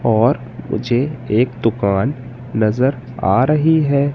और मुझे एक दुकान नज़र आ रही है।